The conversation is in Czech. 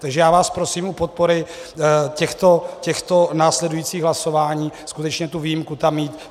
Takže já vás prosím o podporu těchto následujících hlasování, skutečně tu výjimku tam mít.